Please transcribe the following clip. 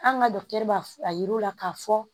An ka b'a a yira u la k'a fɔ